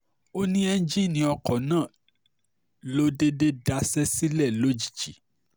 ó ní ẹ́ńjìnnì ọkọ̀ náà ló déédé daṣẹ́ sílẹ̀ lójijì